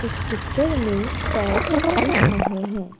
इस पिक्चर में पैर दिख रहे हैं।